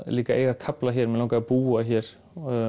líka eiga kafla hér mig langaði að búa hér